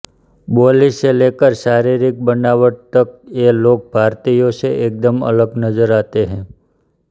बोली से लेकर शाररिक बनावट तक ये लोग भारतीयों से एकदम अलग नजर आते हैं